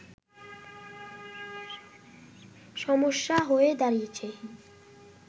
সমস্যা হয়ে দাঁড়িয়েছে